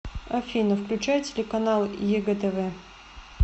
афина включай телеканал егэ тв